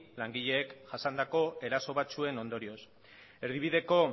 langileek jasandako eraso batzuen ondorioz erdibideko